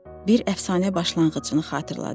Bir əfsanə başlanğıcını xatırladırdı.